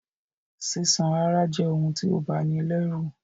Sísán àráa je oun ti o bani lẹ́rù